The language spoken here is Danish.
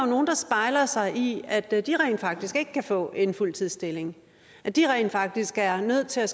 nogle der spejler sig i at de rent faktisk ikke kan få en fuldtidsstilling at de rent faktisk er nødt til at